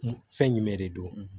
Fɛn jumɛn de don